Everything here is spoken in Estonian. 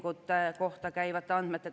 Austatud Riigikogu istungi juhataja!